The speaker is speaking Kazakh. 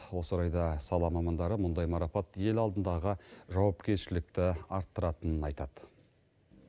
осы орайда сала мамандары мұндай марапат ел алдындағы жауапкершілікті арттыратынын айтады